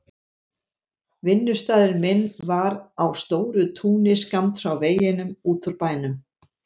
Vinnustaður minn var á stóru túni skammt frá veginum út úr bænum.